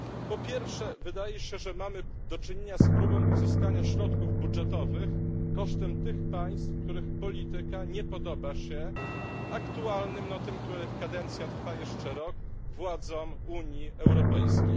Po pierwsze wydaje się, że mamy do czynienia z próbą pozyskania środków budżetowych kosztem tych państw, których polityka nie podoba się aktualnym, no tym których kadencja trwa jeszcze rok, władzom Unii Europejskiej.